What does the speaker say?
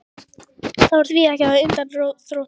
Það var því ekki að undra þótt